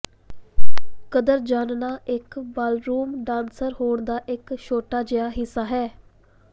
ਕਦਮ ਜਾਣਨਾ ਇੱਕ ਬਾਲਰੂਮ ਡਾਂਸਰ ਹੋਣ ਦਾ ਇਕ ਛੋਟਾ ਜਿਹਾ ਹਿੱਸਾ ਹੈ